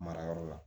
Mara yɔrɔ la